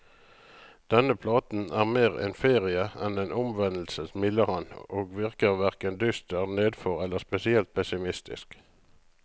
Denne platen er mer en ferie enn en omvendelse, smiler han, og virker hverken dyster, nedfor eller spesielt pessimistisk.